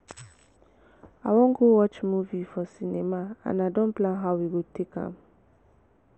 i wan go watch movie for cinema and i don plan how we go take am